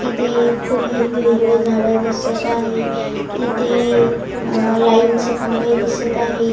तिथे खूप हिरवे हिरवे झाडं दिसत आहे तिथे लाईन चे खंबे दिसत आहे.